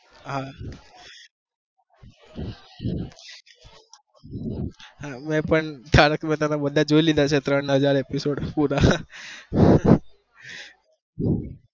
હા તારક મહેતા ના બધા જોઈ લીધા છે ત્રણ હજાર પુરા